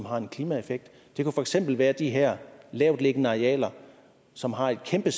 har en klimaeffekt det kunne for eksempel være de her lavtliggende arealer som har en kæmpe